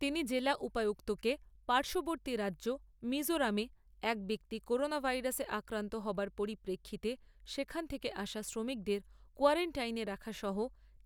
তিনি জেলা উপায়ুক্তকে পার্শ্ববর্তী রাজ্য মিজোরামে এক ব্যক্তি করোনা ভাইরাসে অক্রান্ত হবার পরিপ্রেক্ষিতে সেখান থেকে আসা শ্রমিকদের কোয়ারান্টাইনে রাখা সহ